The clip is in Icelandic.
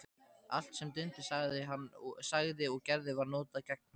Allt sem Dundi sagði og gerði var notað gegn honum.